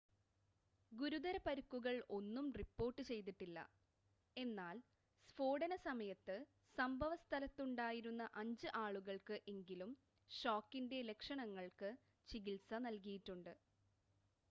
ഗുരുതര പരുക്കുകൾ ഒന്നും റിപ്പോർട്ട് ചെയ്തിട്ടില്ല എന്നാൽ സ്ഫോടന സമയത്ത് സംഭവ സ്ഥലത്തുണ്ടായിരുന്ന അഞ്ച് ആളുകൾക്ക് എങ്കിലും ഷോക്കിൻ്റെ ലക്ഷണങ്ങൾക്ക് ചികിൽസ നൽകിയിട്ടുണ്ട്